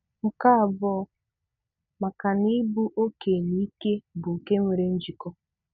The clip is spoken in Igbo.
Nke abụọ, maka na ịbụ ọke na ike bụ nke nwere njikọ